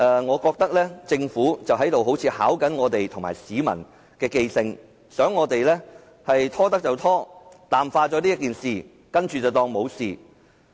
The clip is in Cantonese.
我覺得政府好像在考驗議員和市民的記性，想"拖得就拖"，淡化這事，最終不了了之。